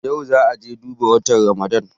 Yau za'a je duba watan Ramadan.